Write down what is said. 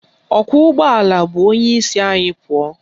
Ọkwọụgbọala bu onyeisi ahụ pụọ